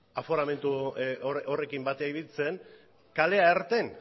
aforamentu horrekin ibiltzen kalea irten